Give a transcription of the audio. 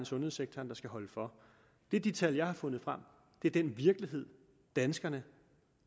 sundhedssektoren der skal holde for det er de tal jeg har fundet frem det er den virkelighed danskerne